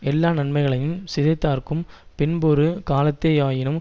எல்லா நன்மைகளையுஞ் சிதைத்தார்க்கும் பின்பொரு காலத்தேயாயினும்